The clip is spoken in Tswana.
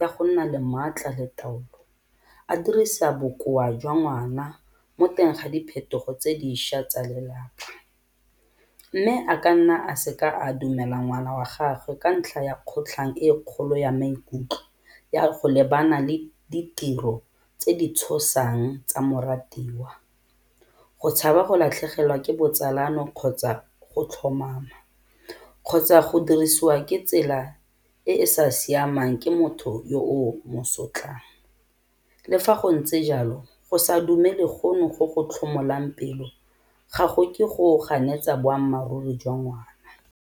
ya go nna le maatla le taolo, a dirisa bokoa jwa ngwana mo teng ga diphetogo tse dišwa tsa lelapa. Mme a ka nna a seka a dumela ngwana wa gagwe ka ntlha ya kgotlhang e kgolo ya maikutlo ya go lebana le ditiro tse di tshosang tsa moratiwa, go tshaba go latlhegelwa ke botsalano kgotsa go tlhomama kgotsa go dirisiwa ke tsela e e sa siamang ke motho yo o mo sotlang. Le fa go ntse jalo go sa dumele gono go go tlhomolang pelo ga go ke go ganetsa boammaaruri jwa ngwana.